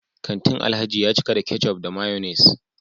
kantin Alhaji ya cika da ketchup da mayonnaise